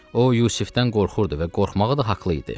O Yusifdən qorxurdu və qorxmağa da haqlı idi.